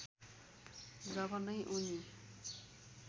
जब नै उनी